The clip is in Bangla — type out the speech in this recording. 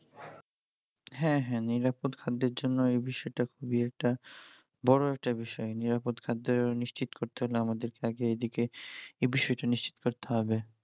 হ্যাঁ হ্যাঁ নিরাপদ খাদ্যের জন্য এই বিষয়টা খুবই একটা বড় একটা বিষয় নিরাপদ খাদ্যের নিশ্চিত করতে হলে আমাদেরকে আগে এদিকে এ বিষয়টা নিশ্চিত করতে হবে